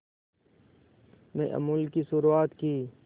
में अमूल की शुरुआत की